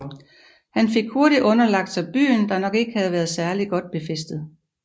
Han fik hurtigt underlagt sig byen der nok ikke havde været særlig godt befæstet